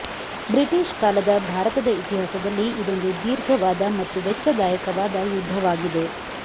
British ಕಾಲದ ಭಾರತದ ಇತಿಹಾಸದಲ್ಲಿ ಇದೊಂದು ದೀರ್ಘವಾದ ಮತ್ತು ವೆಚ್ಚದಾಯಕವಾದ ಯುದ್ದವಾಗಿದೆ